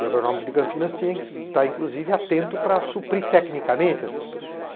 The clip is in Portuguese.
E o agronômico de Campinas tinha que estar, inclusive, atento para suprir tecnicamente essas pessoas.